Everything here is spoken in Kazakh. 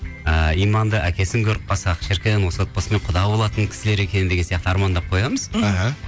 ыыы иманды әкесін көріп қалсақ шіркін осы отбасымен құда болатын кісілер екен деген сияқты армандап қоямыз іхі